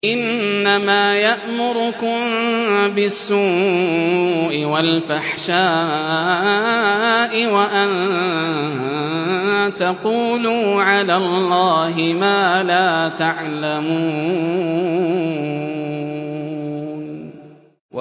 إِنَّمَا يَأْمُرُكُم بِالسُّوءِ وَالْفَحْشَاءِ وَأَن تَقُولُوا عَلَى اللَّهِ مَا لَا تَعْلَمُونَ